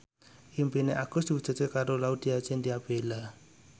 impine Agus diwujudke karo Laudya Chintya Bella